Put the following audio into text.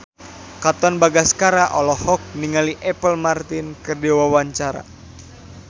Katon Bagaskara olohok ningali Apple Martin keur diwawancara